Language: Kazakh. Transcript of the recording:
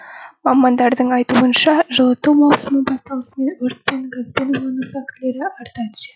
мамандардың айтуынша жылыту маусымы басталысымен өрт пен газбен улану фактілері арта түседі